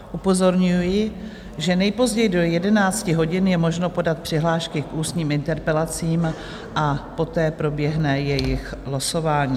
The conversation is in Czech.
Upozorňuji, že nejpozději do 11 hodin je možno podat přihlášky k ústním interpelacím a poté proběhne jejich losování.